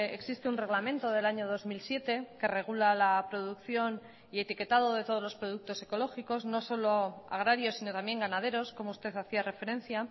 existe un reglamento del año dos mil siete que regula la producción y etiquetado de todos los productos ecológicos no solo agrarios sino también ganaderos como usted hacía referencia